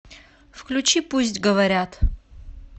включи пусть говорят